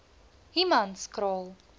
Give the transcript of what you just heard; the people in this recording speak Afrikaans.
humanskraal